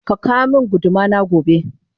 Kaka womin gudu mana gobe